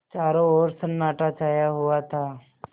चारों ओर सन्नाटा छाया हुआ था